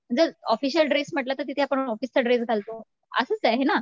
जर official dress म्हंटल तर तिथे आपण ऑफिसचा ड्रेस घालतो. असंच आहे ना